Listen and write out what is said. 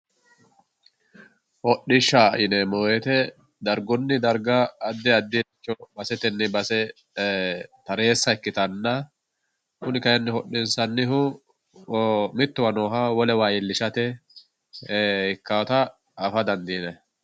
hodhishsha yineemmo woyte dargunni darga addi addiricho basetenni base tareessa ikkitanna kuni kayiinni hodhissannihu mittowa nooha wolewa iillishate ikkaatta afa dandiinayi